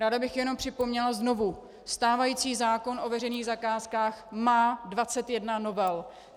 Ráda bych jenom připomněla znovu: Stávající zákon o veřejných zakázkách má 21 novel.